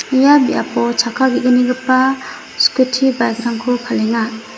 ia biapo chakka ge·gnigipa skuti bike-rangko palenga.